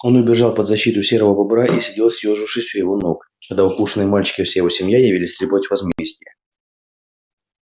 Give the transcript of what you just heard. он убежал под защиту серого бобра и сидел съёжившись у его ног когда укушенный мальчик и вся его семья явились требовать возмездия